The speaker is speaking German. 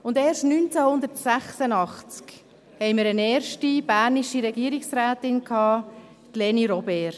Erst 1986 hatten wir eine erste bernische Regierungsrätin, nämlich Leni Robert.